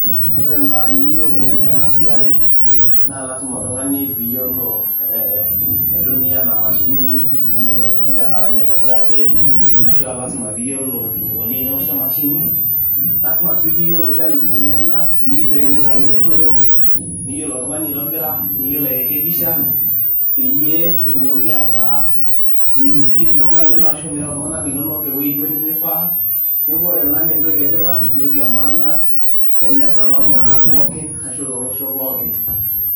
ore imbaa niyieu piyas ena siai naa lasima oltung'ani piyiolo eh, aitumia ena mashini nitumoki oltung'ani ataranya aitobiraki ashua lasima piyiolo enikoni enewoshi emashini lasima sii piyiolo challenges enyenak paa enelo ake nerruoyo niyiolo oltung'ani aitobira niyiolo airekebisha peyie etumoki ataa mei mislead iltung'anak linonok ashu mireu iltung'anak linonok ewueji duo nemifaa neeku ore ena naa entoki etipat entoki e maana teneesa toltung'anak pookin ashu tolosho pookin.